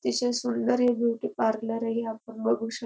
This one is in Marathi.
तसचे सुंदर हे ब्युटी पार्लर ही आपण बघू शक--